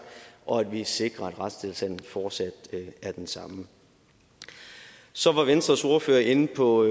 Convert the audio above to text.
og at vi sikrer at retstilstanden fortsat er den samme så var venstres ordfører inde på